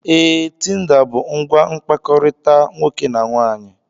Ee, Tinda bụ ngwa mkpakọrịta nwoke na nwaanyị.